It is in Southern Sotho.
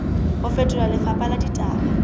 ho fetola lefapha la ditaba